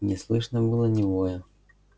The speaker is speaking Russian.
не слышно было ни воя